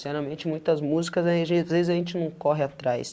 Sinceramente, muitas músicas, a gente às vezes a gente não corre atrás.